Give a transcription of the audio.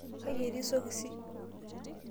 kaji etii sokisi?